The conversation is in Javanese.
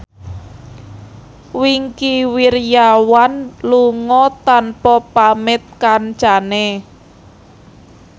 Wingky Wiryawan lunga tanpa pamit kancane